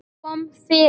Kom fyrir.